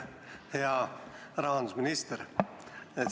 Hea rahandusminister!